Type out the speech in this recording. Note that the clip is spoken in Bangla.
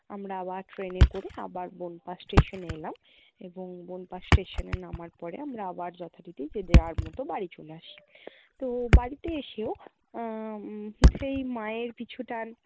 আমরা আবার train এ করে আবার বনপাশ station এ এলাম এবং বনপাশ station এ নামার পরে আমরা আবার যথারীতি যে যার মতো বাড়ি চলে আসি। তো বাড়িতে এসেও আহ উম সেই মায়ের পিছুটান